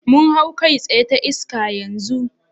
Mun hau kai tsaye ta iska yanzu?